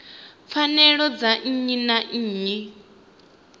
pfanelo dza nnyi na nnyi